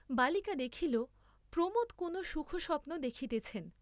বালিকা দেখিল প্রমোদ কোন সুখ স্বপ্ন দেখিতেছেন।